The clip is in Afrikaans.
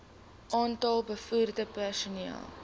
aantal bevoegde personeel